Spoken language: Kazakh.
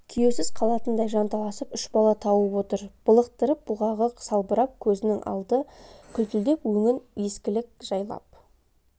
күйеусіз қалатындай жанталасып үш бала тауып отыр былықтырып бұғағы салбырап көзінің алды күлтілдеп өңін ескілік жайлап